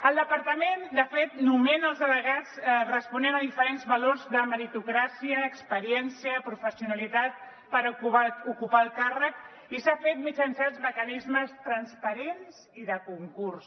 el departament de fet nomena els delegats responent a diferents valors de meritocràcia experiència professionalitat per ocupar el càrrec i s’ha fet mitjançant els mecanismes transparents i de concurs